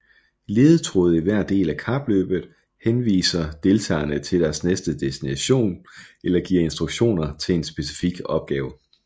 Ledetråde i hver del af kapløbet henviser deltagerne til deres næste destination eller giver instruktioner til en specifik opgave